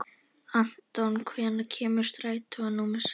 Anton, hvenær kemur strætó númer sex?